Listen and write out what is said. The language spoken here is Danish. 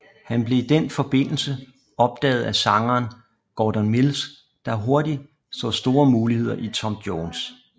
Han blev i den forbindelse opdaget af sangeren Gordon Mills der hurtigt så store muligheder i Tom Jones